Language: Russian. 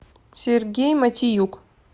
сергей матиюк